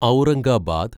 Aurangabad